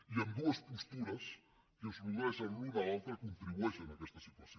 i ambdues postures que es nodreixen l’una a l’altra contribueixen a aquesta situació